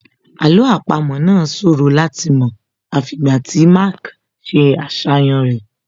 Àlọ́ àpamọ́ náà ṣòro láti mọ̀ àfi ìgbà tí Mark ṣe àṣàyàn rẹ̀